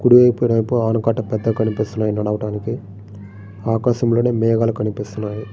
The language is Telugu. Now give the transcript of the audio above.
కుడివైపునేమో ఆనకట్ట పెద్దది కనిపిస్తుంది నడవడానికి. ఆకాశంలోని మేఘాలు కనిపిస్తున్నాయి.